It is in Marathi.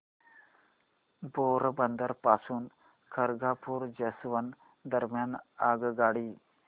पोरबंदर पासून खरगपूर जंक्शन दरम्यान आगगाडी